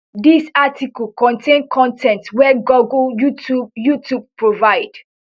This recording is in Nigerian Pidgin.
dis article contain con ten t wey google youtube youtube provide